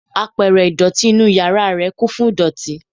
Apẹ̀rẹ̀ ìdọ̀tí inúu yàrá ẹ̀ kún fún idoti.